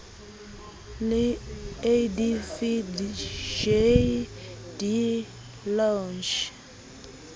le adv j de lange